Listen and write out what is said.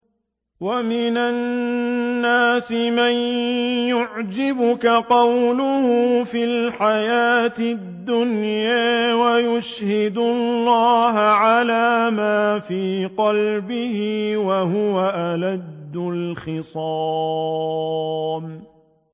وَمِنَ النَّاسِ مَن يُعْجِبُكَ قَوْلُهُ فِي الْحَيَاةِ الدُّنْيَا وَيُشْهِدُ اللَّهَ عَلَىٰ مَا فِي قَلْبِهِ وَهُوَ أَلَدُّ الْخِصَامِ